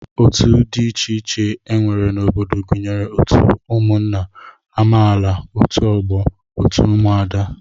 Otu dị iche iche e nwere n'obodo gụnyere otu ụmụnna, amaala, otu ọgbọ, otu ụmụada